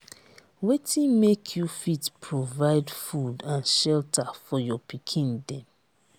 wetin make you fit provide food and shelter for your pikin dem?